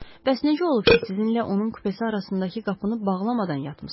Bəs necə olub ki, sizinlə onun kupesi arasındakı qapını bağlamadan yatmısız?